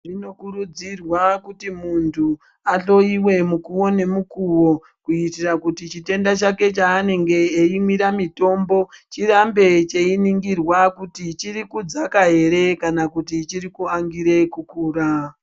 Zvinokurudzirwa kuti muntu ahloyiwe mukuwo ngemukuwo kuitira kuti chitenda chake chaanenge eimwira mitombo chirambe cheininhirwa kuti chiri kudzaka ere kana kuti chiri kuangire kukura.